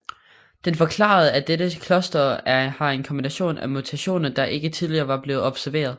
Den forklarede at dette cluster har en kombination af mutationer der ikke tidligere var blevet observeret